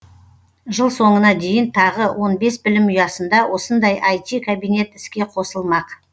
жыл соңына дейін тағы он бес білім ұясында осындай іт кабинет іске қосылмақ